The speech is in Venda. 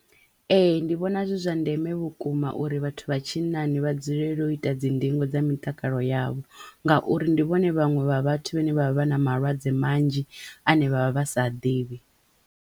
Ee ndi vhona zwi zwa ndeme vhukuma uri vhathu vha tshinnani vha dzulele u ita dzi ndingo dza mitakalo yavho ngauri ndivhone vhaṅwe vha vhathu vhane vha vha na malwadze manzhi ane vha vha vha sa ḓivhi.